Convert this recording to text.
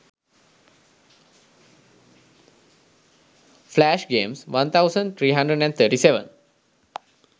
flash games 1337